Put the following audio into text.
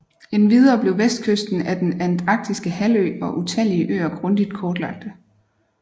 Endvidere blev vestkysten af Den antarktiske halvø og utallige øer grundig kortlagte